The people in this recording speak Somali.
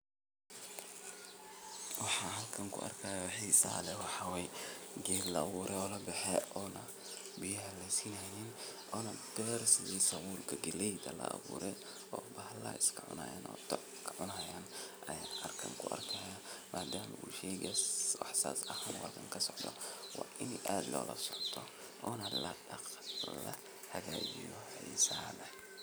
shegan waa qaro qaraahasoo waxaa loo beera dhul aad iyo aad ufican caradiisa nah ay fican tahay carra qoyaan leh waxaa nah waxaan loga helaa dhulkaasi jubooyinka hoose ama shabeelada iyo dhulalka somaalida